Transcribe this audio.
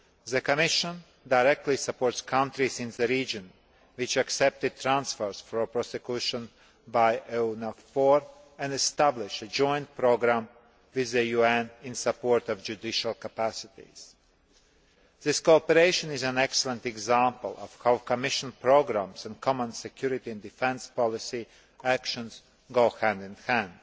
The Commission directly supports countries in the region which have accepted transfers for prosecution by EUNAVFOR and established a joint programme with the UN in support of judicial capacities. This cooperation is an excellent example of how Commission programmes and common security and defence policy actions go hand in hand.